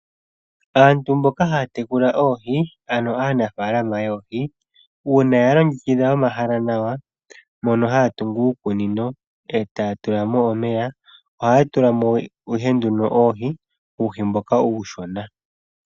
Aantu mboka haya tekula oohi ano aanafalama yoohi uuna ya longekidha omahala nawa mono haya tungu uukunino etaya tulamo omeya ohaya tulamo ihe nduno oohi ,uuhi mboka uushona.